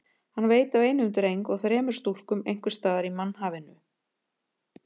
Hann veit af einum dreng og þremur stúlkum einhvers staðar í mannhafinu.